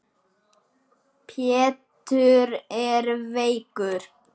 Pétur er veikur.